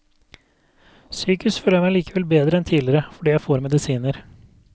Psykisk føler jeg meg likevel bedre enn tidligere, fordi jeg får medisiner.